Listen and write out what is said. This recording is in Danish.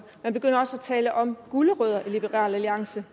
tale om gulerødder i liberal alliance